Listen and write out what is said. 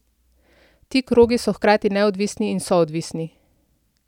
Ti krogi so hkrati neodvisni in soodvisni.